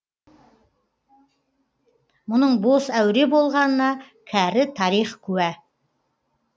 мұның бос әуре болғанына кәрі тарих куә